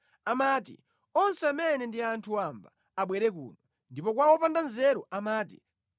Amati, “Onse amene ndi anthu wamba abwere kuno,” ndipo kwa wopanda nzeru amati,